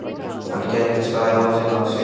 Hann gekk af stað í áttina að Signu.